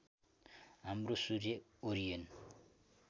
हाम्रो सूर्य ओरियन